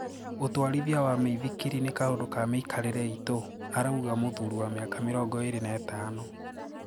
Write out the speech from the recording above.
"ũtwarithia wa mĩithikiri ni kaũndũ ka miikarire itũ," arauga mũthurĩ wa miaka 25.